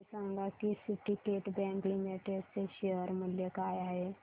हे सांगा की सिंडीकेट बँक लिमिटेड चे शेअर मूल्य काय आहे